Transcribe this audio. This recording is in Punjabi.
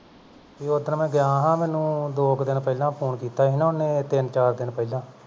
ਓਧਨ ਮੈਂ ਗਿਆ ਸਾਂ ਮੈਨੂੰ ਦੋ ਕੁ ਦਿਨ ਪਹਿਲਾਂ phone ਕੀਤਾ ਸੀ ਨਾ ਓਹਨੇ ਤਿੰਨ-ਚਾਰ ਦਿਨ ਪਹਿਲਾਂ